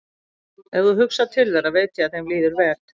Ef þú hugsar til þeirra veit ég að þeim líður vel.